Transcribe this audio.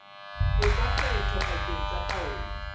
etsa kgetho pakeng tsa taolo